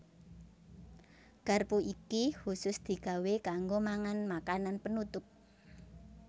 Garpu iki khusus digawé kanggo mangan makanan penutup